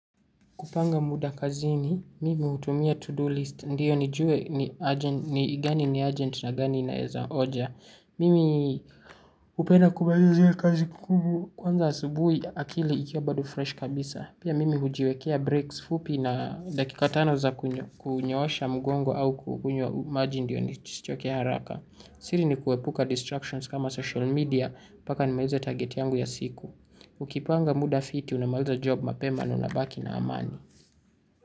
Kupanga muda kazini, mimi hutumia to-do list. Ndiyo nijue ni gani ni urgent na gani inaweza oja. Mimi hupenda kumalizia kazi ngumu. Kwanza asubuhi akili ikiwa bado fresh kabisa. Pia mimi hujiwekea breaks fupi na dakika tano za kunyoosha mgongo au kukunywa maji ndiyo nisichokea haraka. Siri ni kuepuka distractions kama social media mpaka nimalize target yangu ya siku. Ukipanga muda fiti unamaliza job mapema na unabaki na amani.